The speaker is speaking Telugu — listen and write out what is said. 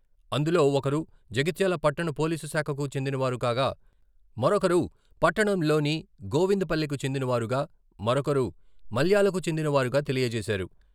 అందులో ఒకరు జగిత్యాల పట్టణ పోలీసు శాఖకు చెందిన వారు కాగా మరొకరు పట్టణంలో ని గోవింద పల్లె కు చెందిన వారుగా, మరొకరు మల్యాల కు చెందిన వారుగా తెలియజేశారు.